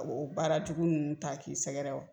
O baara cogo ninnu ta k'i sɛgɛrɛ